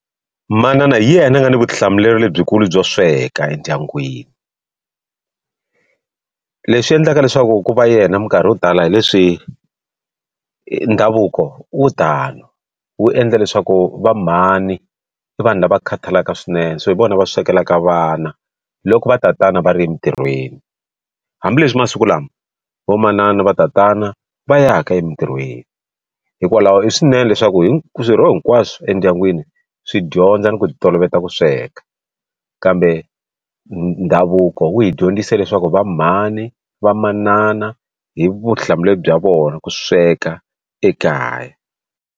Manana hi yena a nga na vutihlamuleri lebyikulu byo sweka endyangwini, leswi endlaka leswaku ku va yena minkarhi yo tala hi leswi ndhavuko wu tano wu endla leswaku va mhani i vanhu lava khataleki swinene so hi vona va swekelaka vana loko va tatana va ri emitirhweni hambileswi masiku lama vo manana va tatana va ya ka emitirhweni hikwalaho i swinene leswaku hi swirho hinkwaswo swi endyangwini swi dyondza ni ku ti toloveta ku sweka kambe ndhavuko wu hi dyondzise leswaku va mhani va manana i vutihlamuleri bya vona ku sweka ekaya.